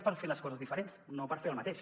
és per fer les coses diferents no per fer el mateix